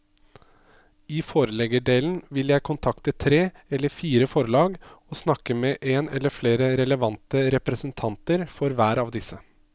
I forleggerdelen vil jeg kontakte tre eller fire forlag og snakke med en eller flere relevante representanter for hver av disse.